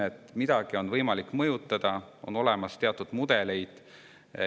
Selleks, et midagi oleks võimalik mõjutada, on olemas teatud mudeleid.